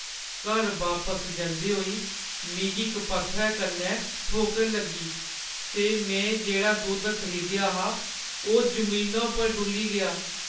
घर बापस जंदे होई मिगी इक पत्थरै कन्नै ठोकर लग्गी ते में जेह्ड़ा दुद्ध खरीदेआ हा ओह् जमीना पर डु'ल्ली गेआ।